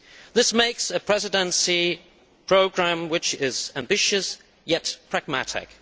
This makes for a Presidency programme which is ambitious yet pragmatic.